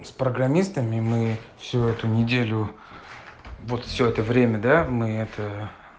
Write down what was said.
с программистами мы все эту неделю вот все это время да мы это